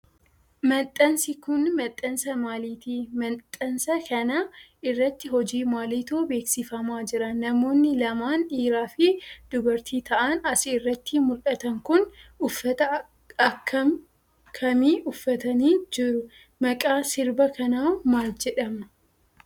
Maxxansi kun, maxxansa maaliiti? Maxxansa kana irratti hojii maaliitu bebeeksifamaa jira? Namoonni lamaan dhiiraa fi dubartii ta'an as irratti mul'atan kun, uffata akka kamii uffatanii jiru? Maqaan sirba kanaa maal jedhama?